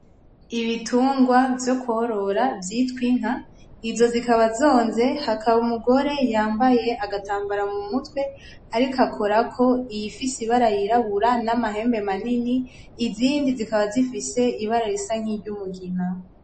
Ibitungwa vyo korora vyitwa inka, izo zikaba zonze hakaba umugore yambaye agatambara mumutwe, ariko akorako iyifise ibara y'irabura n'amahembe manini. Izindi zikaba zifise ibara risa nk'iryumugina.